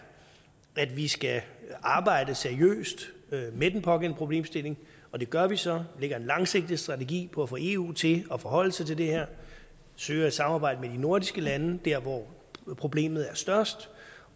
at vi skal arbejde seriøst med den pågældende problemstilling og det gør vi så vi lægger en langsigtet strategi for at få eu til at forholde sig til det her søger samarbejde med de nordiske lande der hvor problemet er størst